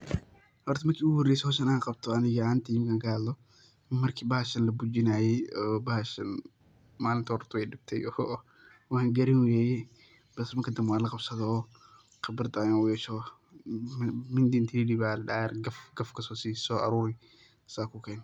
Xor marki iguxoreysee xowshan an gabto ani axantey markan kaxadhlo, marki baxashan labujinayee oo baxashan, malinti horta wayidibtee oo wanqaranweyee bis marki danbee wanlagabsadhee oo, qibradh ayan uyeshee oo, mindi inti lidiwoo ayan ayarko gaf gaf kasosii soaruri saa kuken.